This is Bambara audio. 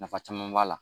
Nafa caman b'a la